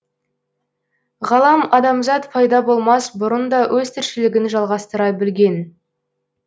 ғалам адамзат пайда болмас бұрын да өз тіршілігін жалғастыра білген